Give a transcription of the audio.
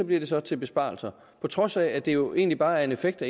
bliver det så til besparelser på trods af at det jo egentlig bare er en effekt